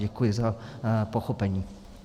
Děkuji za pochopení.